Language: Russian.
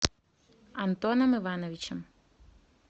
антоном ивановичем